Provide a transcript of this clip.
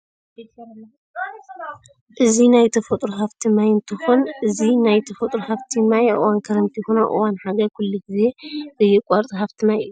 እዚ ናይ ተፈጥሮ ሃፍቲ ማይ እንትኰን እዚ ናይ ተፈጥሮ ሃፍቲ ማይ አብ እዋን ክረምቲ ይኩን ኣብ እዋን ሓጋይ ኩሉ ግዜ ዘየቋርፅ ሃፍቲ ማይ እዩ።